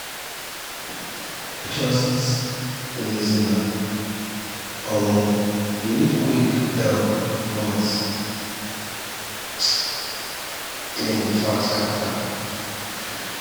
just reason am um you need quick help but um clinic far scatter